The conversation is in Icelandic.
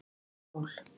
Sól